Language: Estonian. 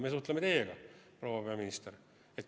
Meie suhtleme teiega, proua peaminister!